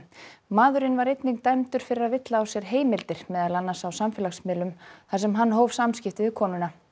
maðurinn var einnig dæmdur fyrir að villa á sér heimildir meðal annars á samfélagsmiðlum þar sem hann hóf samskipti við konuna